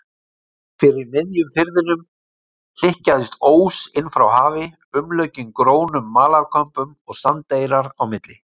Fyrir miðjum firðinum hlykkjaðist ós inn frá hafi, umlukinn grónum malarkömbum og sandeyrar á milli.